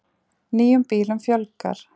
Nýjum bílum fjölgar